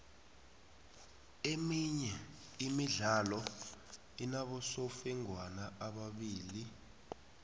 iminye imidlalo inabosofengwana ababili